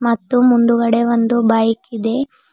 ಮತ್ತು ಮುಂದುಗಡೆ ಒಂದು ಬೈಕ್ ಇದೆ.